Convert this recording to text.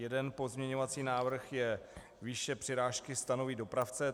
Jeden pozměňovací návrh je: výše přirážky stanoví dopravce.